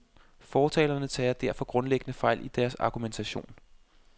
Fortalerne tager derfor grundlæggende fejl i deres argumentation.